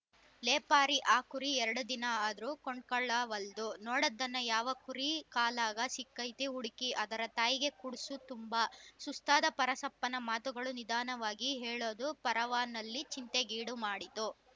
ಲೇ ಪಾರಿ ಆ ಕುರಿ ಎರಡ ದಿನಾ ಆದ್ರೂ ಕೊಂಡ್ಕೊಳ್ಳಾವಲ್ದು ನೋಡದನ್ನ ಯಾವ ಕುರಿ ಕಾಲಾಗ ಸಿಕೈತಿ ಹುಡ್ಕಿ ಅದರ ತಾಯಿಗೆ ಕುಡ್ಸು ತುಂಬಾ ಸುಸ್ತಾದ ಪರಸಪ್ಪನ ಮಾತುಗಳು ನಿಧಾನವಾಗಿ ಹೇಳೂದು ಪಾರವ್ವನಲ್ಲಿ ಚಿಂತೆಗೀಡುಮಾಡಿತು